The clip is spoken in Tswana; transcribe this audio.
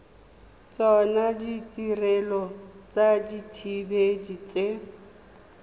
tsona ditirelo tsa dithibedi tse